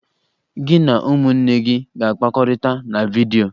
Gị na ụmụnne gị ga-akpakọrịta na vidyo!